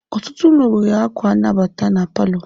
Ọtụtụ ụlọ nwere akwa nnabata na palọ.